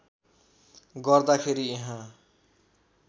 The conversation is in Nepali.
गर्दा खेरि यहाँ